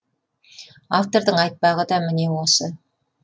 автордың айтпағы да міне осы